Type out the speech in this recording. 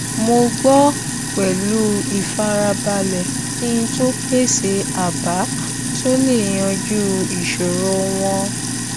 mo gbọ pẹlú ìfarabalẹ kí n tó pèsè àbá tó lè yanjú ìṣòro wọn